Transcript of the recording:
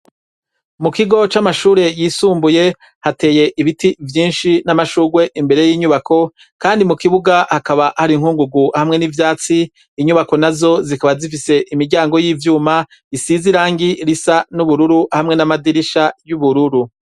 Mu kigo c'amashure yisumbuye hateye ibiti vyinshi n'amashugwe imbere y'inyubako, kandi mu kibuga hakaba hari inkungugu hamwe n'ivyatsi, inyubako nazo zikaba zifise imiryango y'ivyuma, isize irangi risa n'ubururu hamwe n'amadirisha y'ubururu.